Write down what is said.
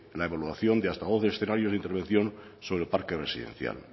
la evaluación de hasta doce escenarios de intervención sobre el parque residencial